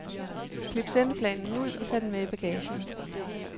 Klip sendeplanen ud og tag den med i bagagen.